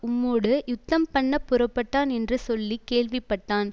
உம்மோடு யுத்தம் பண்ணப் புறப்பட்டான் என்று சொல்ல கேள்விப்பட்டான்